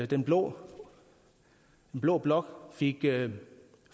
den blå blå blok fik